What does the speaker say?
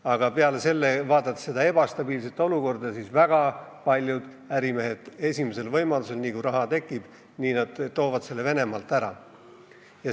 Aga peale selle, vaadates seda ebastabiilset olukorda, väga paljud ärimehed esimesel võimalusel, nii kui raha tekib, viivad selle Venemaalt ära.